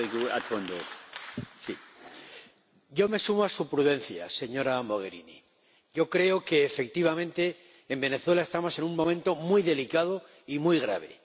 Señor Presidente, yo me sumo a su prudencia, señora Mogherini. Creo que, efectivamente, en Venezuela estamos en un momento muy delicado y muy grave.